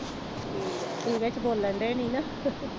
ਤੁਹੀ ਵਿਚ ਬੋਲਣ ਡੇ ਨਹੀਂ ਨਾ